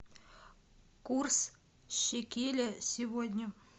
курс шекеля сегодня